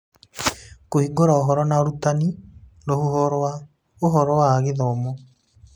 Kũhingũra Ũhoro na Ũrutani, rũhuho rwa ũhoro wa gĩthomo